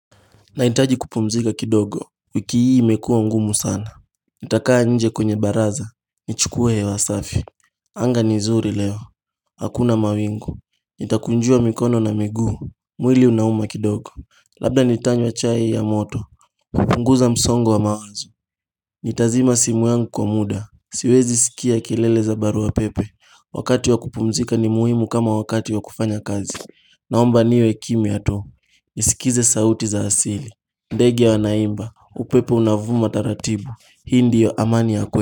Nahitaji kupumzika kidogo, wiki hii imekuwa ngumu sana, nitakaa nje kwenye baraza, nichukue hewa safi Anga ni nzuri leo, hakuna mawingu, nitakunjua mikono na miguu, mwili unauma kidogo, labda nitanywa chai ya moto, kupunguza msongo wa mawazo Nitazima simu yangu kwa muda, siwezi sikia kelele za barua pepe. Wakati wa kupumzika ni muhimu kama wakati wa kufanya kazi. Naomba niwe kimya tu, nisikize sauti za asili, ndege wanaimba, upepo unavuma taratibu, hii ndio amani ya kwe.